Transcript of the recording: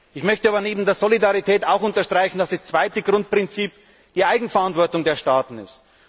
Ich möchte aber neben der Solidarität auch unterstreichen, dass das zweite Grundprinzip die Eigenverantwortung der Staaten ist.